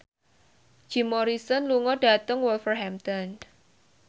Jim Morrison lunga dhateng Wolverhampton